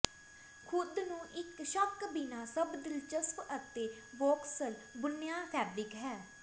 ਥੁੱਕ ਨੂੰ ਇੱਕ ਸ਼ੱਕ ਬਿਨਾ ਸਭ ਦਿਲਚਸਪ ਅਤੇ ਵੌਕਸਲ ਬੁਣਿਆ ਫੈਬਰਿਕ ਹੈ